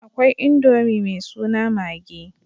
Akwai Indomi mai suna maggi.